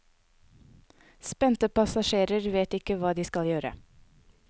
Spente passasjerer vet ikke hva de skal gjøre.